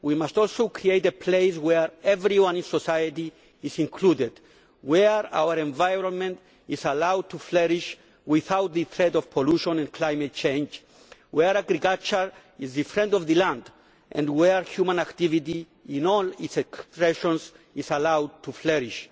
We must also create a place where everyone in society is included, where our environment is allowed to flourish without the threat of pollution and climate change, where agriculture is the friend of the land and where human activity, in all its expressions, is allowed to flourish.